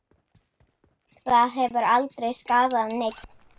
Það hefur aldrei skaðað neinn.